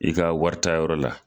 I ka warita yɔrɔ la.